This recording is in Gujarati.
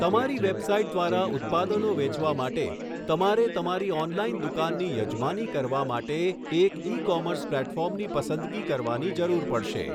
તમારી વેબસાઇટ દ્વારા ઉત્પાદનો વેચવા માટે તમારે તમારી ઓનલાઇન દુકાનની યજમાની કરવા માટે એક ઇ કોમર્સ પ્લેટફોર્મની પસંદગી કરવાની જરૂર પડશે.